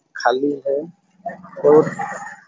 खाली है रोड --